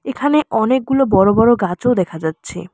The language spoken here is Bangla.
এখানে অনেকগুলো বড় বড় গাছও দেখা যাচ্ছে।